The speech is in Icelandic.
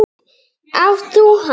Átt þú hann?